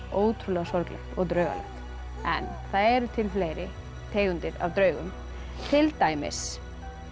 ótrúlega sorglegt og draugalegt en það eru til fleiri tegundir af draugum til dæmis